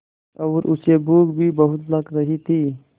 और उसे भूख भी बहुत लग रही थी